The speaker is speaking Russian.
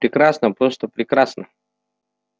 прекрасно просто прекрасно